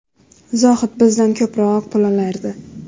Zohid bizdan ko‘proq pul olardi.